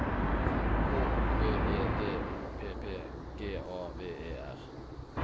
H O V E D O P P G A V E R